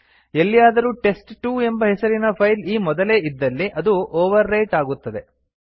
ಎಲ್ಲಿಯಾದರೂ ಟೆಸ್ಟ್2 ಎಂಬ ಹೆಸರಿನ ಫೈಲ್ ಈ ಮೊದಲೇ ಇದ್ದಲ್ಲಿ ಅದು ಓವರ್ ರೈಟ್ ಆಗುತ್ತದೆ